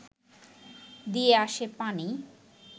দিয়ে আসে পানি